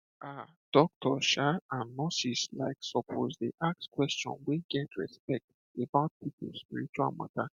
um doctors um and nurses like suppose dey ask question wey get respect about people spiritual matter